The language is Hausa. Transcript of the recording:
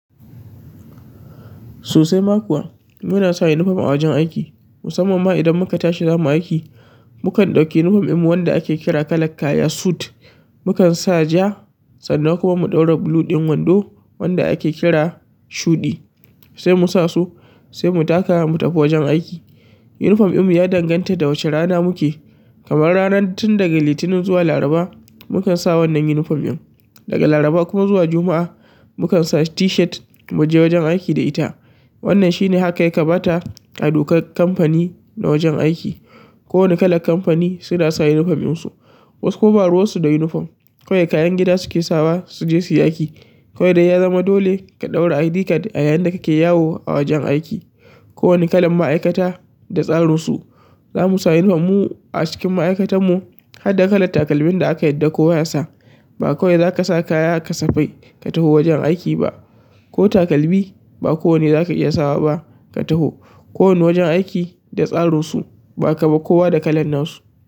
Sosai ma kuwa. Mu na sa yinifom a wajen aiki. Musamman ma idan mu ka tashi za mu aiki, mu kan ɗauki yinifom ɗinmu wanda a ke kira kalak kaya suit. Mu kan sa ja sannan kuma mu ɗaura bulu ɗin wando wanda a ke kira shuɗi. Sai mu sa su, sai mu taka mu tafi wajen aiki. Yinifom ɗinmu ya danganta da wace rana mu ke. Kamar ranan tun daga Litinin zuwa Laraba mu kan sa wannan yinifom ɗin. Daga Laraba kuma zuwa Juma'a mu kan sa tishet mu je wajen aiki da ita. Wannan shi ne haka ya kamata a dokar kamfani na wajen aiki. Ko wane kalan kamfani su na sa yinifom ɗinsu. Wasu kuma ba ruwansu da yinifom. Kawai kayan gida su ke sawa su je su yi aiki. Kawai dai ya zama dole ka ɗaura ID card a yayin da ka ke yawo a wajen aiki. Ko wani kalan ma'aikata da tsarinsu. Za mu sa yinifom mu a cikin ma'aikatanmu har da kalan takalmin da aka yadda kowa ya sa. Ba kowai za ka sa kaya kasafai ka tafi wajen aiki ba. Ko takalmi ba kowanne za ka iya sawa ba ka tafo. Kowane wajen aiki da tsarinsu. Za ka ga kowa da kalan nasu.